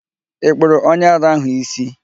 Ị kpụrụ onye ara ahụ ísí?